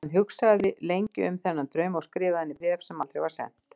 Hann hugsaði lengi um þennan draum og skrifaði henni bréf, sem aldrei var sent.